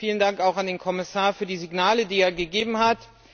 Vielen Dank auch an den Kommissar für die Signale, die er gegeben hat.